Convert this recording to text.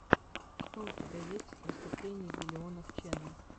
что у тебя есть из выступлений биллионов ченел